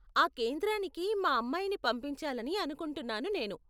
ఆ కేంద్రానికి మా అమ్మాయిని పంపించాలని అనుకుంటున్నాను నేను.